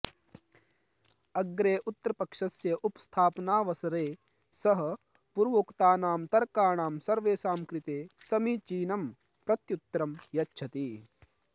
अग्रे उत्तरपक्षस्य उपस्थापनावसरे सः पूर्वोक्तानां तर्काणां सर्वेषां कृते समीचीनं प्रत्युत्तरं यच्छति